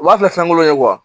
U b'a kɛ fɛnkolo ye